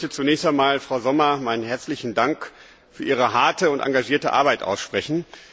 Ich möchte zunächst einmal Frau Sommer meinen herzlichen Dank für ihre harte und engagierte Arbeit aussprechen.